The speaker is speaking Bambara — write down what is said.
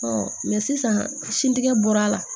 mɛ sisan sin tigɛ bɔra a la